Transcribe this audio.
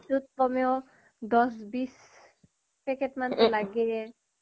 দিনটোত কমেও ১০- ২০ পেকেট মান লাগে